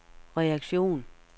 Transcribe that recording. reaktion